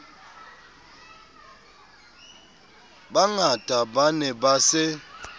bangata ba ne ba se